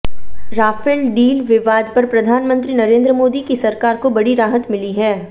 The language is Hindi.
राफेल डील विवाद पर प्रधानमंत्री नरेंद्र मोदी की सरकार को बड़ी राहत मिली है